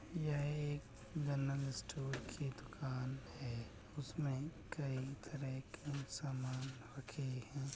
यह एक general store की दुकान है उसमें कई तरह के सामान रखे हैं।